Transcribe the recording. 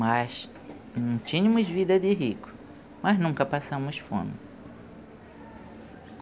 Mas não tínhamos vida de rico, mas nunca passamos fome.